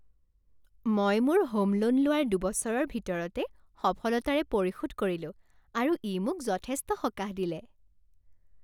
মই মোৰ home loan লোৱাৰ দুবছৰৰ ভিতৰতে সফলতাৰে পৰিশোধ কৰিলো আৰু ই মোক যথেষ্ট সকাহ দিলে।